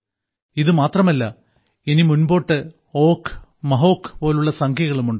ഇതുമാത്രമല്ല ഇനി മുൻപോട്ട് ഓഘ് മഹോഘ് പോലുള്ള സംഖ്യകളും ഉണ്ട്